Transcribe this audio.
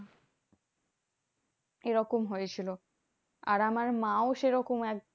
এরকম হয়েছিল। আর আমার মাও সেরকম এক